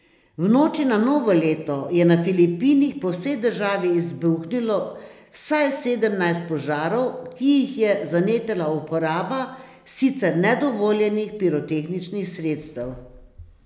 V noči na novo leto je na Filipinih po vsej državi izbruhnilo vsaj sedemnajst požarov, ki jih je zanetila uporaba sicer nedovoljenih pirotehničnih sredstev.